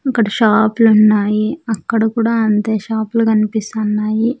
అక్కడ షాప్ లు ఉన్నాయి అక్కడ కూడా అంతే షాపు లు కనిపిస్తన్నాయి.